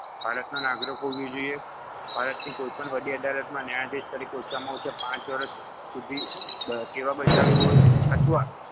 ભારતની નાગરિક હોવી જોઈએ ભારતની કોઈપણ વડી અદાલતમાં ન્યાયાધીશ તરીકે ઓછામાં ઓછા પાંચ વર્ષ સુધી દ સેવા બજાવી હોવી અથવા